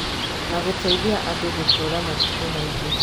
Na gũteithia andũ gũtũũra matukũ maingĩ